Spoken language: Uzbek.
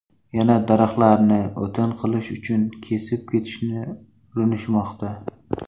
Yana daraxtlarni o‘tin qilish uchun kesib ketishni urinishmoqda.